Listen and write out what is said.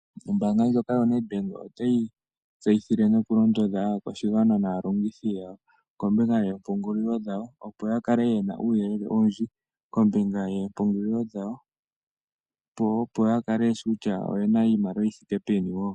Ombaanga ndjoka yoNedbank otayi tseyithile nokulondodha aakwashigwana naalongithi yawo kombinga yoompungulilo dhawo, opo ya kale ye na uuyelele owundji kombinga yoompungulilo dhawo, opo ya kale ye shi kutya oye na iimaliwa yi thike peni wo.